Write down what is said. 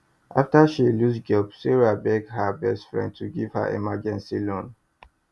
after she lose job sarah beg her best friend to give her emergency loan